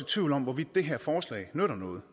tvivl om hvorvidt det her forslag nytter noget